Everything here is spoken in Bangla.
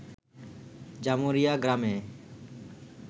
জামুরিয়া গ্রামে